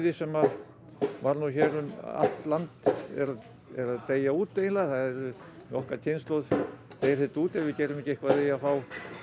sem að var nú hér um allt land er að deyja út eiginlega með okkar kynslóð deyr þetta út ef við gerum ekki eitthvað í því að fá